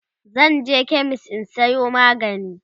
zanje chemist in Sayo magani